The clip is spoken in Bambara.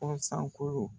Kɔsan